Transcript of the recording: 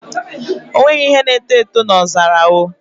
O nweghị ihe na-eto eto n'ọzara